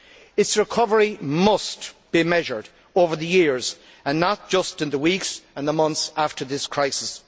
Its recovery must be measured over the years, and not just in the weeks and the months after this crisis.